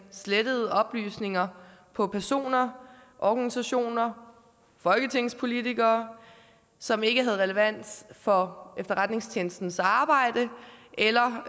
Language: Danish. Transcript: slettet oplysninger på personer organisationer folketingspolitikere som ikke havde relevans for efterretningstjenestens arbejde eller